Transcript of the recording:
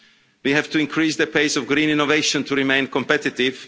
We have to increase the pace of green innovation to remain competitive.